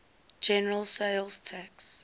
general sales tax